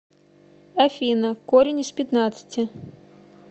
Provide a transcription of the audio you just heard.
афина корень из пятнадцати